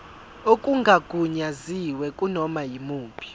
okungagunyaziwe kunoma yimuphi